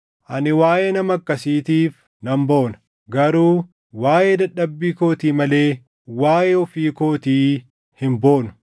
Ani waaʼee nama akkasiitiif nan boona; garuu waaʼee dadhabbii kootii malee waaʼee ofii kootii hin boonu.